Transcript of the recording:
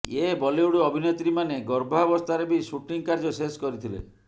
ଏ Bollywood ଅଭିନେତ୍ରୀମାନେ ଗର୍ଭାବସ୍ଥାରେ ବି ସୁଟିଂ କାର୍ଯ୍ୟ ଶେଷ କରିଥିଲେ